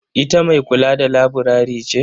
Ita mai kula da laburare ce?